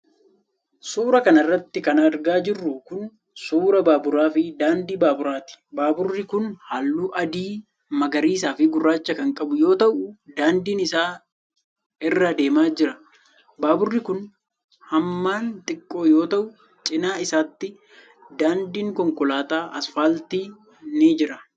Suura kana irratti kan argaa jirru kun, suura baaburaa fi daandii baaburaat. Baaburri kun haalluu adii, magariisa fi gurraacha kan qabu yoo ta'u, daandii isaa irra adeemaa jira. Baaburri kun hamman xiqqoo yoo ta'u, cinaa isaattis daandiin konkolaataa asfaaltii ni jira.